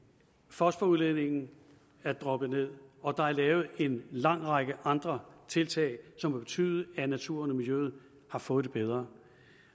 fosforudledningen er droppet ned og der er lavet en lang række andre tiltag som har betydet at naturen og miljøet har fået det bedre